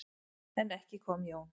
En ekki kom Jón.